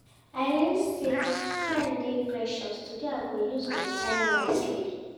I learn sey time dey precious, today I go use my time wisely.